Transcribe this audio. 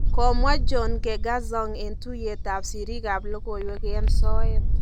Komwa John Nkengasong en tuyeet ab sisiirk ab logoiwek en soet